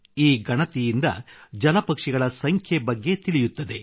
ಈ ಗಣತಿಯಿಂದ ಜಲಪಕ್ಷಿಗಳ ಸಂಖ್ಯೆ ಬಗ್ಗೆ ತಿಳಿಯುತ್ತದೆ